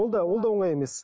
ол да ол да оңай емес